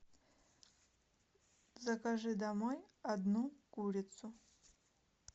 закажи домой одну курицу